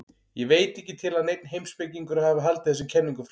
Ég veit ekki til að neinn heimspekingur hafi haldið þessum kenningum fram.